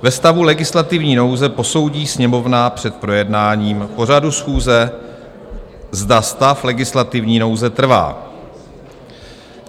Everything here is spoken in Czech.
Ve stavu legislativní nouze posoudí Sněmovna před projednáním pořadu schůze, zda stav legislativní nouze trvá."